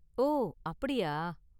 ஓ அப்படியா?